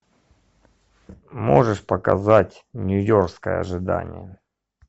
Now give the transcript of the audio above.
можешь показать нью йоркское ожидание